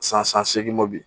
San san san segin mo bi